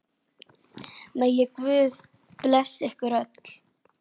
Megi Guð blessa ykkur öll.